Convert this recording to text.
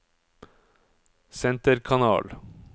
senterkanal